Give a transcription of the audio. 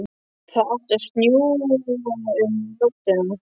Það átti að snjóa um nóttina.